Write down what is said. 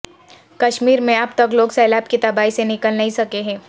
کشمیر میں اب تک لوگ سیلاب کی تباہی سے نکل نہیں سکیں ہیں